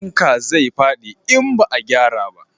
Fanka zai fadi in ba a gyara ba